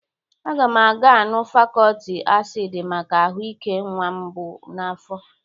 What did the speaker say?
Aga m aga aṅụ fọlik asịd maka ahụ ike nnwa m bụ n'afọ.